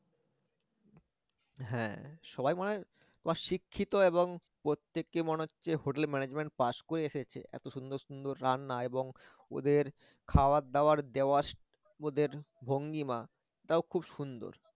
হ্যা সবাই মনে হয় শিক্ষিত এবং প্রত্যেকেই মনে হচ্ছে hotel management pass করে এসেছে এত সুন্দর সুন্দর রান্না এবং ওদের খাবারদাবার দেওয়ার ওদের ভঙ্গিমা এটাও খুব সুন্দর